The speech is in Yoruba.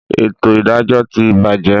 Etò ìdájọ́ ti bàjé